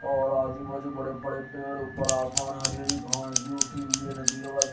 और आजू बाजू बड़े बड़े पेड़ ऊपर आसमान हरी हरी घास भी उठी हुई है नदी के पास--